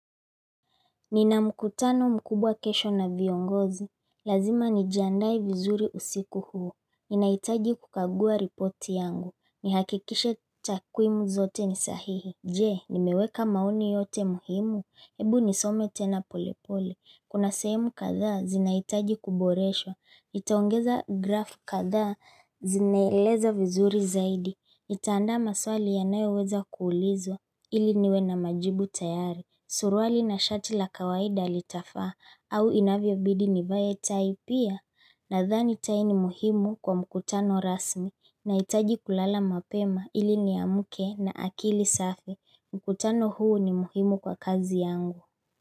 Nina mkutano mkubwa kesho na viongozi, lazima nijiandae vizuri usiku huu, ninahitaji kukagua ripoti yangu, nihakikishe takwimu zote ni sahihi Je, nimeweka maoni yote muhimu, hebu nisome tena polepole, kuna sehemu kadhaa, zinaitaji kuboreshwa, nitaongeza grafu kadhaa, zinaeleza vizuri zaidi, nitaanda maswali yanayoweza kuulizwa, ili niwe na majibu tayari Suruali na shati la kawaida litafaa au inavyo bidi nivae tai pia nadhani tai ni muhimu kwa mkutano rasmi nahitaji kulala mapema ili niamke na akili safi mkutano huu ni muhimu kwa kazi yangu.